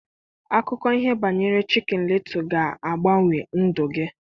Akụkọ ihe banyere Chịkịn lịtụ ga-agbanwe ndụ gị.